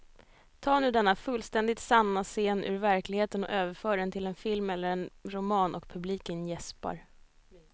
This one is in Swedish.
Ta nu denna fullständigt sanna scen ur verkligheten och överför den till en film eller en roman och publiken jäspar.